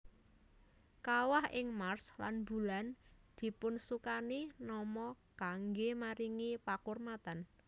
Kawah ing Mars lan Bulan dipunsukani nama kanggé maringi pakurmatan